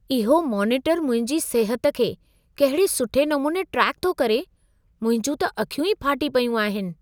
इहो मोनीटर मुंहिंजी सिहत खे कहिड़े सुठे नमूने ट्रेक थो करे। मुंहिंजूं त अखियूं ई फाटी पयूं आहिनि।